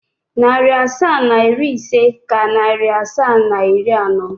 Narị asaa na iri ise ka narị asaa na iri anọ.